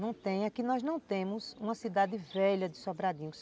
Não tem aqui, nós não temos uma cidade velha de Sobradinho.